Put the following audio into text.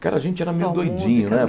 Cara, a gente era meio doidinho, né?